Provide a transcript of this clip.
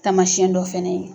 Taamasiyɛn dɔ fɛnɛ ye.